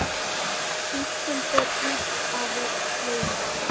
Bíllinn fór út af veginum